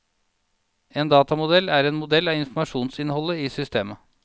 En datamodell er en modell av informasjonsinnholdet i systemet.